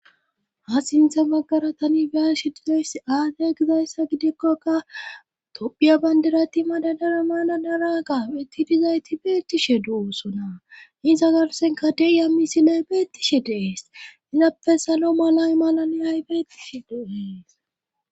ha sinthe maggaratani biyasiidees aadey gizayssa gidekkoka tophiya bandirati madadara maladara gapettidizayti beettishe du7oosona insa garsenka deiya misilay beettishe deees izappe salo malay malani ay beettishe dehees